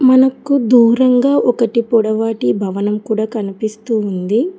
అనక్కు దూరంగా ఒకటి పొడవాటి భవనం కూడా కనిపిస్తూ ఉంది.